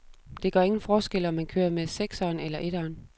Det gør ingen forskel, om man kører med sekseren eller eteren.